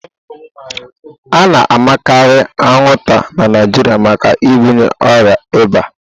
A na-amakarị anwụnta na Naịjirịa maka ibunye ọrịa ịba.